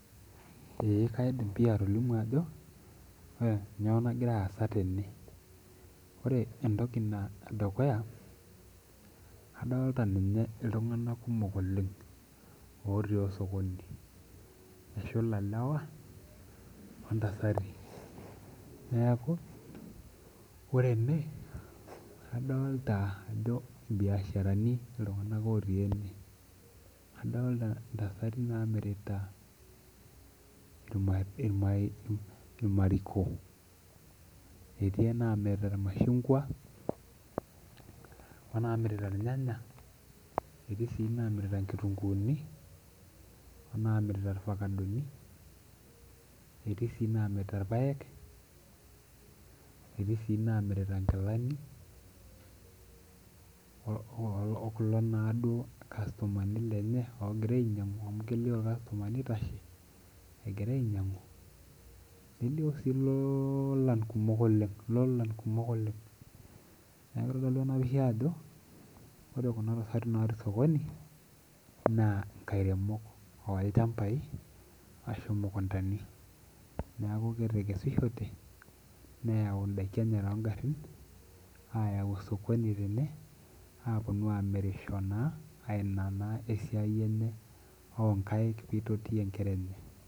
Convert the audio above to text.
Eeh kaidim pii atolimu ajo kanyio nagira aasa tene ore entoki edukuya adolta ninye ltunganak kumok oleng otii osokoni eshula lewa ontasati ore ene adolta ajo irbiasharani ltunganak otii ene adolta ntasati namirita irmariko etii enamirita irmashungwa etii namirita irnyanya etii namirita nkitunguni netii namirita irfakadoni, etiinamirita irpak etii si namirita nkilani okulo na kastomani oinyangu amu kelio ake irkastomani egira ainyangu nelio si lolan kumok oleng neaku kitodolu ajo ore khnatasati natii osokoni na nkairemok neaku etekesishote neyau ndakini tongarin enye ayau osokoni peponunui amirisho na ninye esiai enye o kaik peitotie nkera enye.